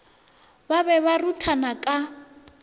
ba be ba ruthana ka